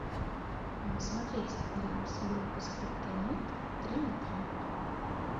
смотреть клип группы скриптонит три на три